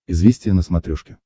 известия на смотрешке